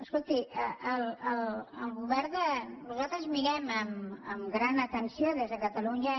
escolti nosaltres mirem amb gran atenció des de catalunya